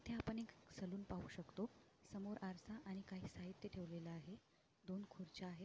इथे आपण एक सलून पाहू शकतो समोर आरसा आणि काही साहित्य ठेवलेल आहे दोन खुर्च्या आहेत.